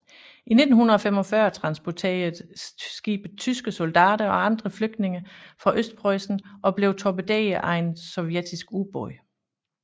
I 1945 transporterede skibet tyske soldater og andre flygtninge fra Østpreussen og blev torpederet af en sovjetisk ubåd